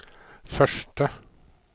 første